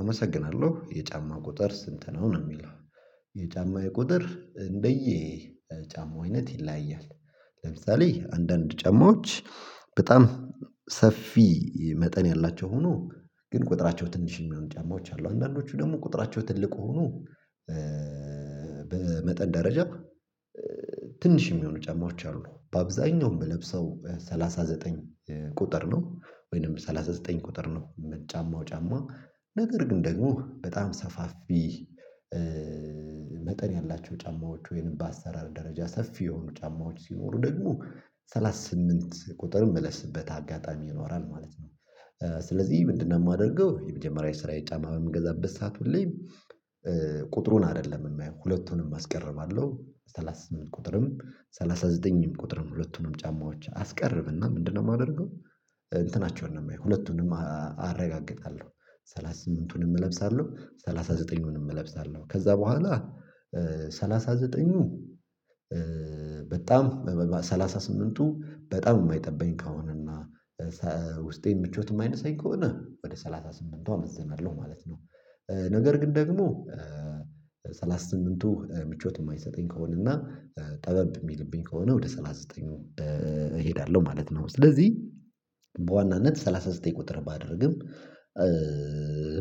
አመሰግናለሁ የጫማ ቁጥር ስንት ነው ነው የሚለው? የጫማዬ ቁጥር እንደዬ ጫማው አይነት ይለያያል። ለምሳሌ አንዳንድ ጫማዎች በጣም ሰፊ መጠን ያላቸው ሆኖ ግን ቁጥራቸው ትንሽ የሚሆኑ ጫማዎች አሉ። አንዳንዶቹ ደግሞ ቁጥራቸው ትልቅ ሆኖ በመጠን ደረጃ ትንሽ የሚሆኑ ጫማዎች አሉ። በአብዛኛውም የምለብሰው ሰላሳ ዘጠኝ ቁጥር ነው። ወይንም ሰላሳ ዘጠኝ ቁጥር ነው የምጫማው ጫማ። ነገር ግን ደግሞ በጣም ሰፋፊ መጠን ያላቸው ጫማዎች ወይንም በአሰራር ደረጃ ሰፊ የሆኑ ጫማዎች ሲኖሩ ደግሞ ሰላሳ ስምንት ቁጥርም ምለብስበት አጋጣሚ ይኖራል ማለት ነው። ስለዚህ ምንድነው? የማደርገው የመጀመሪያ ስራ የጫማ የምገዛበት ሰዓት ሁሌ ቁጥሩን አይደለም የሚያየው ሁለቱንም አስቀርባለሁ ሰላሳ ስምንት ቁጥርም ሰላሳ ዘጠኝም ቁጥርም ሁለቱንም ጫማዎች አስቀርብና ምንድነው የማደርገው? እንትናቸውን ነው የማየው ሁለቱንም አረጋግጣለሁ። ሰላሳ ስምንትኑን እለብሳለሁ ሰላሳ ዘጠኝኑን እለብሳለሁ ከዛ በኋላ ሰላሳ ዘጠኝኑ በጣም ሰላሳ ስምንትቱ በጣም የማይጠበኝ ከሆነ እና ውስጤን ምቾት ማይነሰኝ ከሆነ ወደ ሰላሳ ስምንትቱ አመዝናለሁ ማለት ነው። ነገር ግን ደግሞ ሰላሳ ስምንትቱ ምቾት የማይሰጠኝ ከሆነ እና ጠበብ የሚልብኝ ከሆነ ወደ ሰላሳ ዘጠኝቱ ነው። ስለዚህ በዋናነት ሰላሳ ዘጠኝ ቁጥር ባደርግም።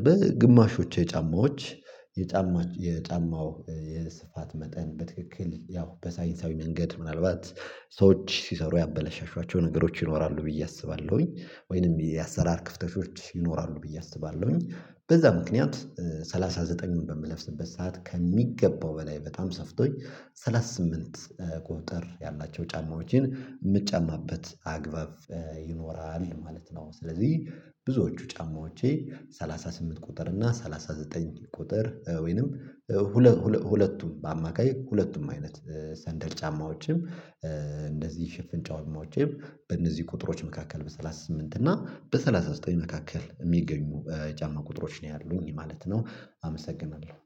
በግማሾቼ የጫማዎች የጫማው የስፋት መጠን በትክክል ያው በሳይንሳዊ መንገድ ምናልባት ሰዎች ሲሰሩ ያበላሻሻቸው ነገሮች ይኖራሉ ብዬ አስባለሁኝ። ወይንም የአሰራር ክፍተቾች ይኖራሉ ብዬ አስባለሁኝ። በዛ ምክንያት ሰላሳ ዘጠኝኙን በምለብስበት ሰዓት ከሚገባው በላይ በጣም ሰፍቶኝ ሰላሳ ስምንት ቁጥር ያላቸው ጫማዎችን ምጫማበት አግባብ ይኖራል ማለት ነው። ስለዚህ ብዙዎቹ ጫማዎቼ ሰላሳ ስምንት ቁጥር እና ሰላሳ ዘጠኝ ቁጥር ወይንም ሁለቱም በአማካይ ሁለቱም አይነት ሰንደል ጫማዎችም እንደዚህ ሽፍን ጫማዎቼም በእነዚህ ቁጥሮች መካከል በሰላሳ ስምንት እና በሰላሳ ዘጠኝ መካከል የሚገኙ ጫማ ቁጥሮች ነው ያሉኝ ማለት ነው። አመሰግናለሁ